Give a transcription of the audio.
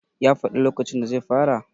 ya faɗi lokacin da zai fara?